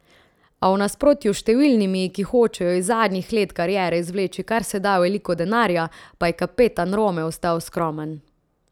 A v nasprotju s številnimi, ki hočejo iz zadnjih let kariere izvleči kar se da veliko denarja, pa je kapetan Rome ostal skromen!